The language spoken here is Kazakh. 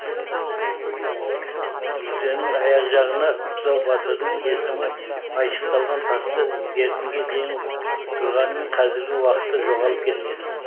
мүрденің аяқ жағына бұзау батырдың есімі айшықталған тасты бертінге дейін тұрғанымен қазіргі уақытта жоғалып кеткен